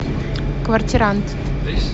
квартирант